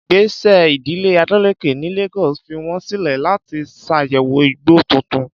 Ìgbésẹ̀ ìdílé Adeleke ní Lagos fi wọ́n sílẹ̀ láti ṣàyẹ̀wò igbó tuntun.